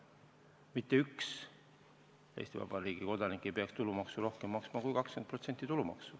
Mitte ükski Eesti Vabariigi kodanik ei peaks tulumaksu rohkem maksma kui 20%.